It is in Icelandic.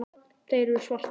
Þeir eru svartir.